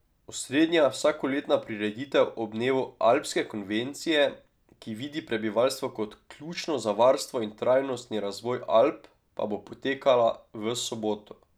Osrednja vsakoletna prireditev ob dnevu Alpske konvencije, ki vidi prebivalstvo kot ključno za varstvo in trajnostni razvoj Alp, pa bo potekala v soboto.